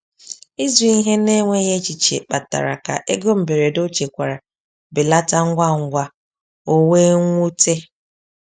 Ịzụ ihe n’enweghị echiche kpatara ka ego mberede ọ chekwara belata ngwa ngwa, o wee nwute.